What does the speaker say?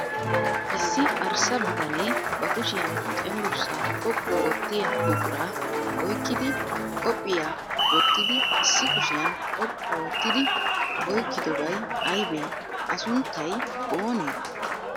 Issi arssa bitanee ba kushiyan cenggurssaa xoqqu oottiya buquraa oyikkidi qophiyaa wottidi issi kushiyan xoqqu oottidi oyikkidobay ayibee? A sunttay oonee?